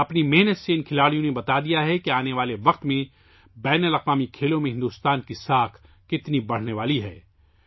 اپنی محنت سے ان کھلاڑیوں نے بتایا ہے کہ آنے والے وقت میں بین الاقوامی کھیلوں میں ہندوستان کی ساکھ کتنی بڑھنے والی ہے